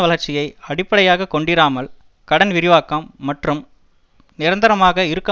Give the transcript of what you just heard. வளர்ச்சியை அடிப்படையாக கொண்டிராமல் கடன் விரிவாக்கம் மற்றும் நிரந்தரமாக இருக்க